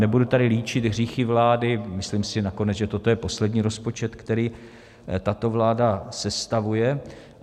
Nebudu tady líčit hříchy vlády, myslím si nakonec, že toto je poslední rozpočet, který tato vláda sestavuje.